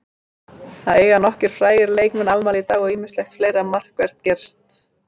Það eiga nokkrir frægir leikmann afmæli í dag og ýmislegt fleira markvert gerst.